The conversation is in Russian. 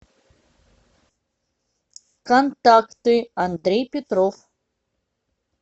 контакты андрей петров